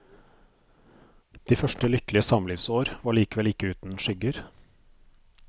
De første lykkelige samlivsår var likevel ikke uten skygger.